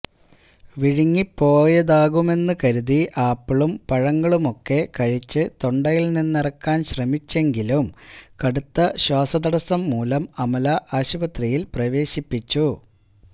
വിഴുങ്ങിപ്പോയതാകാമെന്നു കരുതി ആപ്പിളും പഴങ്ങളുമൊക്കെ കഴിച്ചു തൊണ്ടയില് നിന്നിറക്കാന് ശ്രമിച്ചെങ്കിലും കടുത്ത ശ്വാസതടസംമൂലം അമല ആശുപത്രിയില് പ്രവേശിപ്പിച്ചു